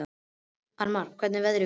Annmar, hvernig er veðrið úti?